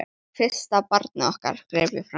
Og fyrsta barnið okkar, greip ég fram í.